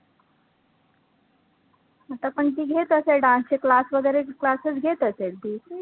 आता पण ती घेत असेल dance चे class वैगरे classes घेत असेल ती